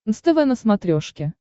нств на смотрешке